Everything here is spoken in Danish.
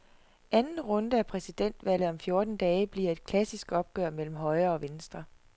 Anden runde af præsidentvalget om fjorten dage bliver et klassisk opgør mellem højre og venstre.